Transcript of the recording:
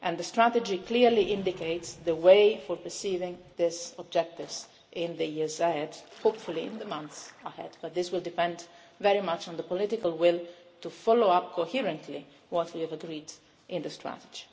The strategy clearly indicates how to perceive these objectives in the years ahead, hopefully in the months ahead, but this will depend very much on the political will to follow up coherently what we have agreed in the strategy.